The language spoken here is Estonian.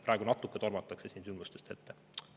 Praegu natuke tormatakse sündmustest ette.